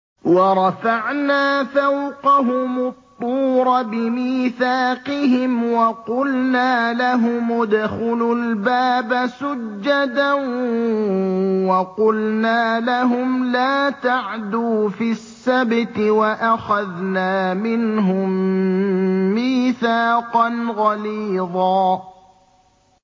وَرَفَعْنَا فَوْقَهُمُ الطُّورَ بِمِيثَاقِهِمْ وَقُلْنَا لَهُمُ ادْخُلُوا الْبَابَ سُجَّدًا وَقُلْنَا لَهُمْ لَا تَعْدُوا فِي السَّبْتِ وَأَخَذْنَا مِنْهُم مِّيثَاقًا غَلِيظًا